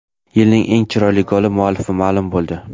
Yilning eng chiroyli goli muallifi ma’lum bo‘ldi .